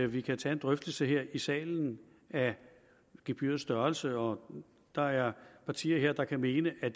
vi kan tage en drøftelse her i salen af gebyrets størrelse og der er partier her der kan mene at